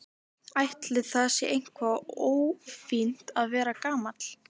Ætli það sé eitthvað ófínt að vera gamall?